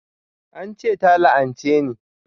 An ce ta la'anche ni